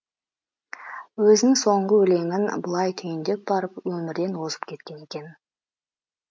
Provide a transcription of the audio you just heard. өзінің соңғы өлеңін былай түйіндей барып өмірден озып кеткен екен